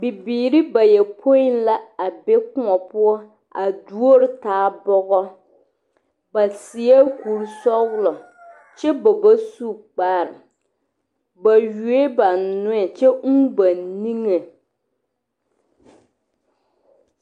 Nimbatoɔnii la ka o are ssitɔɔ nimi tɔɔriŋ ka kpaa ne boma a be a puoriŋ kyɛ ka noba paŋ de maakurofoni ne kamirahi a ŋmaaroo a kyɛlɛ ko yele yɛlɛ ka poli dɔɔ meŋ a are.